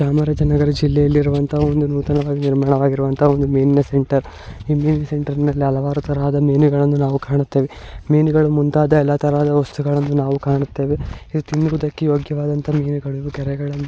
ಚಾಮರಾಜನಗರ ಜಿಲ್ಲೆಯಲ್ಲಿರುವಂತಹ ಒಂದು ನೂತನವಾಗಿ ನಿರ್ಮಾಣವಾಗಿರುವಂತಹ ಒಂದು ಮೀನಿನ ಸೆಂಟರ್ ಈ ಮೀನಿನ ಸೆಂಟರ್ ನಲ್ಲಿ ಹಲವಾರು ಮೀನುಗಳನ್ನು ನಾವು ಕಾಣುತ್ತೇವೆ ಮೀನುಗಳು ಮುಂತಾದ ಎಲ್ಲಾ ತರದ ವಸ್ತುಗಳನ್ನು ನಾವು ಕಾಣುತ್ತೇವೆ. ಇದು ತಿನ್ನುವುದಕ್ಕೆ ಯೋಗ್ಯವಾದ ಮೀನುಗಳನ್ನು ಕೆರೆಗಳಲ್ಲಿ--